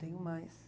Tenho mais.